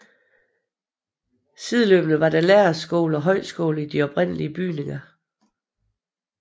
Sideløbende var der lærerskole og højskole i de oprindelige bygninger